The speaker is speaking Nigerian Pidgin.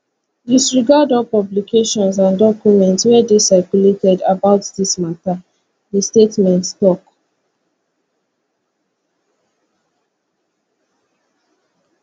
disregard all publications and documents wey dey circulated about dis mata di statement tok